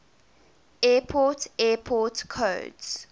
airport airport codes